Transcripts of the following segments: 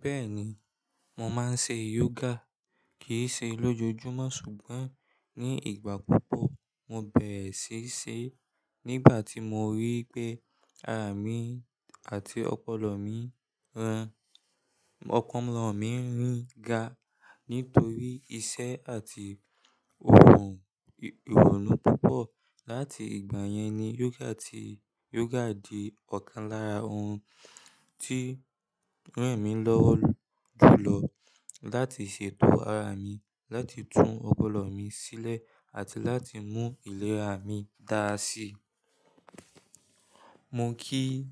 Bẹ́ẹ̀ni, mò máa ń ṣe yoga kì í ṣe lójoojúmọ́ ṣùgbọ́n ní ìgbà púpọ̀. Mo bẹ̀rẹ̀ síí ṣe nígbà tí mo rí pé ara mi àti ọpọlọ mi ń rìn ga nítorí iṣẹ́ àti ìrònú púpọ̀. Láti ìgbà yẹn ni yoga di ọ̀kan lára ohun tí ń ràn mí lọ́wọ́ jùlọ láti ṣètò ara mi, láti tún ọpọlọ mi sílẹ̀ àti láti mú ìlera mi dáa sí i. Mo kì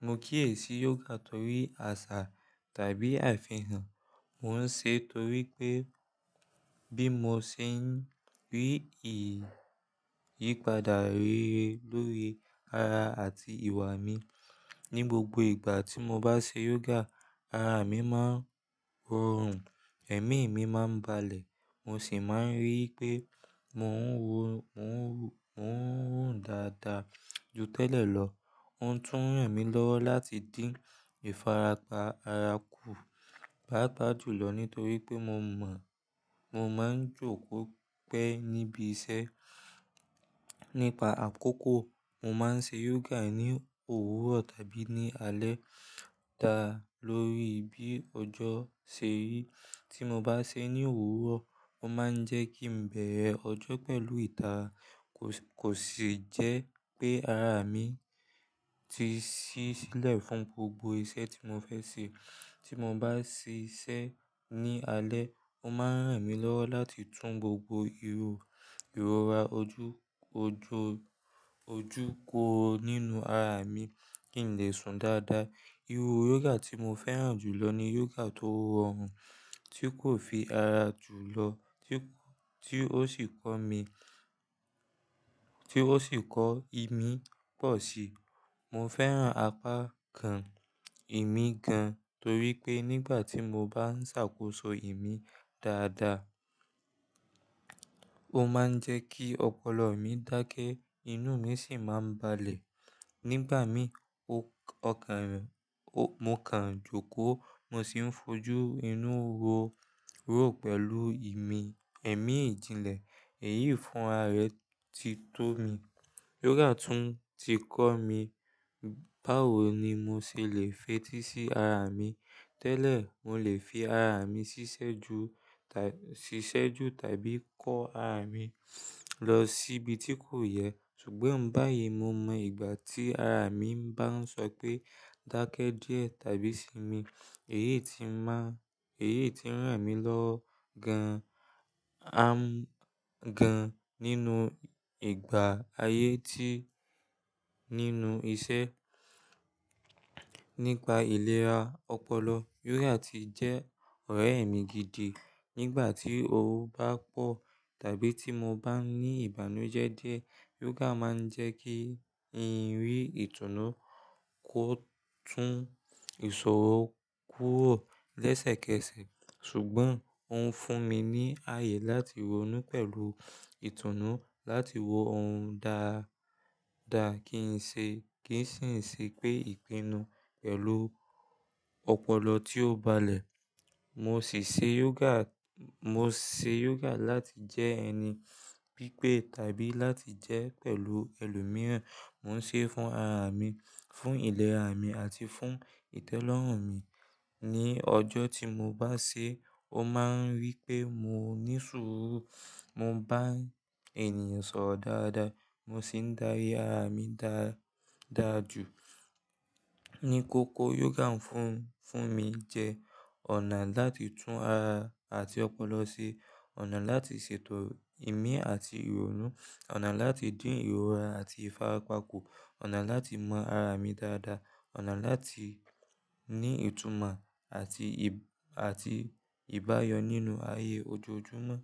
è sí yoga torí àṣà tàbí àfihàn, mò ń ṣe torí pé bí mo ṣe ń rí ìyípadà rere lórí ara àti ìwà mi. Ni gbogbo ìgbà tí mo bá ṣe yoga, ara mi máa rọrùn, ẹ̀mí mi máa ń balẹ̀, mò sì máa ń rí pé mò ń rùn dáadáa ju tẹ́lẹ̀ lọ. Ó ń tún ràn mí lọ́wọ́ láti dín ìfarapa ara kù páápàá jùlọ nítorí pé mò máa ń jókòó pẹ́ níbi iṣẹ́. Nípa àkókò, mò máa ń ṣe yoga ní òwúrọ̀ tàbí ní alẹ́ dá lórí bí ọjọ́ ṣe rí. Tí mo bá ṣe é ní òwúrọ̀, ó máa ń jẹ́ kí n bẹ̀rẹ̀ ọjọ́ pẹ̀lú ìtà, kò sì jẹ́ pé ara mi ti ṣí sílẹ̀ fún gbogbo iṣẹ́ tí mò fẹ́ ṣe. Tí mo bá ṣe iṣẹ́ ní alẹ́, ó máa ń ràn mí lọ́wọ́ láti tún gbogbo ìrora ojúkọ nínú ara mi kílẹ̀ sun dáadáa. Irú yoga tí mo fẹ́ràn jùlọ ni yoga tó rọrùn, tí kò fi ara jùlọ, tí ó sì kọ́ mí pọ̀ síi. Mo fẹ́ràn apá kàn ìmí gan torí pé nígbà tí mo bá ń ṣàkóso ìmí dáadáa, ó máa ń jẹ́ kí ọpọlọ mi dákẹ́, inú mi sì máa ń balẹ̀. Nígbà mì, mo kàn ń jókòó, mo sì ń fojú inú ró pẹ̀lú ẹ̀mí ìdíńlẹ̀. Èyí fún ara rẹ ti tó mi. Yoga tún ti kọ́ mi báwo ni mo ṣe le feti sí ara mi. Tẹ́lẹ̀, mò lè fi ara mi ṣiṣẹ́ ju tàbí kọ́ ara mi lọ síbi tí kò yẹ. Ṣùgbọ́n báyìí, mo mọ ìgbà tí ara mi bá ń sọ pé dákẹ́ díẹ̀ tàbí sinmi, èyí ti ń ràn mí lọ́ gan nínú ìgbà ayé ti nínú iṣẹ́. Nípa ìlera ọpọlọ, yoga ti jẹ́ ọ̀rẹ́ mi gidi. Nígbà tí oró bá pọ̀ tàbí tí mo bá ní ìbànújẹ́ díẹ̀, yoga máa ń jẹ́ kí n rí ìtùnú, ó tún ìṣòro kúrò lẹ́sẹ̀kẹsẹ̀. Ṣùgbọ́n ó ń fún mi ní ààyè láti ronú pẹ̀lú ìtùnú, láti wo ohun dáadáa kí n sì ṣe pé ìpinnu pẹ̀lú ọpọlọ tí ó balẹ̀. Mo sì ṣe yoga láti jẹ́ ẹni pípé tàbí láti jẹ́ pẹ̀lú ẹlòmíràn. Mò ń ṣe é fún ara mi, fún ìlera mi àti fún ìtẹ́lọ́rùn mi. Ni ọjọ́ tí mo bá ṣe é, ó máa ń rí pé mò ní sùúrù, mò ń bá ènìyàn sọ̀rọ̀ dáadáa, mò sì ń darí ara mi dáadáa jù. Ni kókó, yoga ń fún mi jẹ́ ọ̀nà láti tún ara àti ọpọlọ ṣe, ọ̀nà láti ṣètò ìmí àti ìrònú, ọ̀nà láti dín ìrora àti ìfarapa kù, ọ̀nà láti mọ ara mi dáadáa, ọ̀nà láti ní ìtumọ̀ àti ìbáyọ nínú ayé ojoojúmọ́.